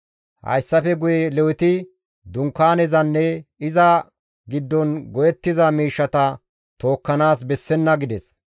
Hayssafe guye Leweti Dunkaanezanne iza giddon go7ettiza miishshata tookkanaas bessenna» gides.